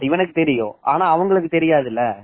இவனுக்கு தெரியும் ஆனா உங்களுக்கு தெரியாது இல்ல